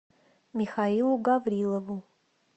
михаилу гаврилову